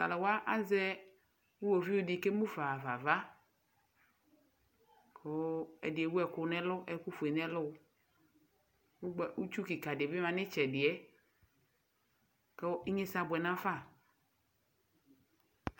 Taluwa asɛ iɣovi di ke emufa ɣafa ava ku ɛdi ewu ɛku fue nu ɛlu ku itsu kika di yanu iliɛ ku inyesɛ abuɛ nafa